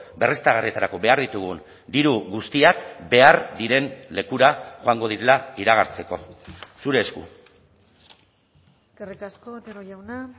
berriztagarrietarako behar ditugun diru guztiak behar diren lekura joango direla iragartzeko zure esku eskerrik asko otero jauna